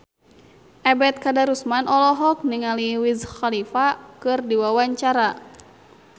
Ebet Kadarusman olohok ningali Wiz Khalifa keur diwawancara